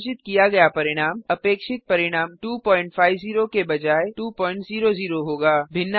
प्रदर्शित किया गया परिणाम अपेक्षित परिणाम 250 के बजाय 200 होगा